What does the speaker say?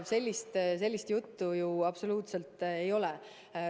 Sellist juttu ju absoluutselt ei ole olnud.